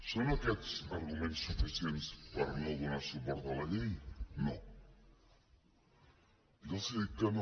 són aquests arguments suficients per no donar suport a la llei no ja els he dit que no